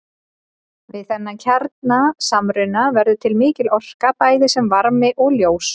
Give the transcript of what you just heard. Við þennan kjarnasamruna verður til mikil orka bæði sem varmi og ljós.